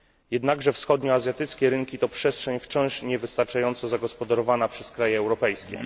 Jednakże wschodnioazjatyckie rynki to przestrzeń wciąż niewystarczająco zagospodarowana przez kraje europejskie.